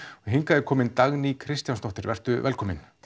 og hingað er komin Dagný Kristjánsdóttir vertu velkomin